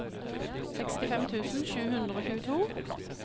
sekstifem tusen sju hundre og tjueto